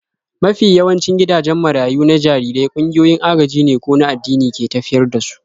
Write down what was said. Mafi yawancin gidajen marayu na jarirai ƙungiyoyin agajine ko an addini ke tafiyar da su.